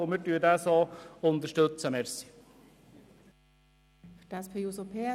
wir unterstützen ihn in dieser Form.